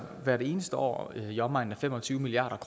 hvert eneste år i omegnen af fem og tyve milliard